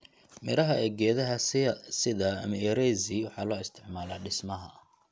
Midhaha ee geedaha sida mierezi waxaa loo isticmaalaa dhismaha.